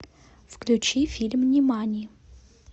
включи фильм нимани